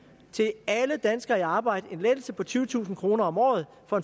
til alle danskere i arbejde en lettelse på tyvetusind kroner om året og